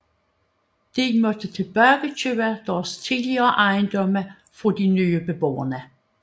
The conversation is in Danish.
De måtte tilbagekøbe deres tidligere ejendomme fra de nye beboere